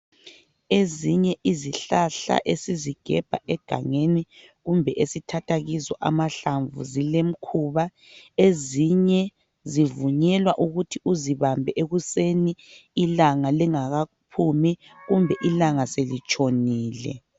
Ezinye izihlhahla esizigebha egangeni kumbe esithatha kizo amahlamvu zilemkhuba; ezinye zivunyelwa ukuthi uzibambe ekuseni ilanga lingakaphumi kumbe ilanga selitshonile.